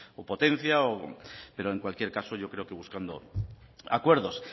o potencia pero en cualquier caso yo creo que buscando acuerdos